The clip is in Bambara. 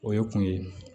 O ye kun ye